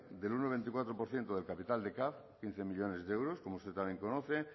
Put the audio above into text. del uno coma veinticuatro por ciento del capital de caf quince millónes de euros como usted también conoce